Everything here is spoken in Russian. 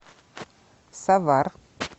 савар